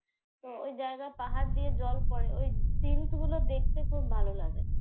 তো ওই জায়গা পাহাড় দিয়ে জল পড়ে ওই সিন গুলো খুব ভালো লাগে।